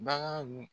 Bagan